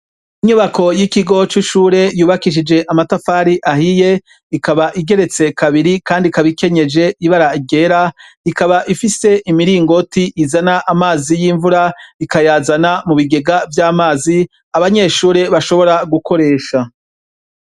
Inyubako y'ikigo c'ishure yubakishije amatafari ahiye ikaba igeretse kabiri kandi ikaba ikenyeje ibara ryera ikaba ifise imiringoti izana amazi y'imvura ikayazana mu bigegea vy'amazi abanyeshure bashobora gukoresha.